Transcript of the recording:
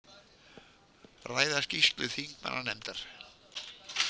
Ræða skýrslu þingmannanefndar